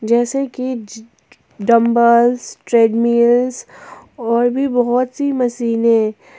जैसी कि dumbbells treadmills और भी बहुत सी मशीने।